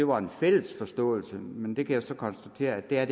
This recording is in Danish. var en fælles forståelse af men det kan jeg så konstatere at der